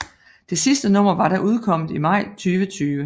Det sidste nummer var da udkommet i maj 2020